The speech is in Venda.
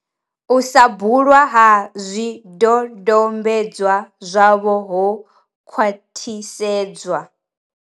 U sa bulwa ha zwidodombedzwa zwavho ho khwaṱhisedzwa.